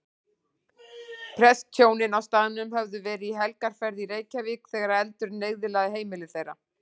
Prestshjónin á staðnum höfðu verið í helgarferð í Reykjavík þegar eldurinn eyðilagði heimili þeirra.